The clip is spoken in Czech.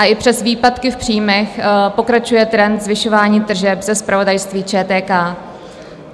A i přes výpadky v příjmech pokračuje trend zvyšování tržeb ze zpravodajství ČTK.